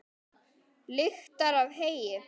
Lyktar af heyi.